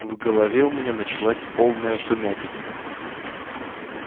в голове у меня началась полная сумятица